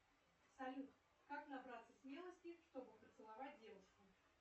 салют как набраться смелости чтобы поцеловать девушку